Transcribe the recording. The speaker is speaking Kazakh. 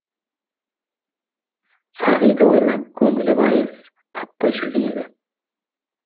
сағиді ойлап көңілі байыз таппай жүрген еді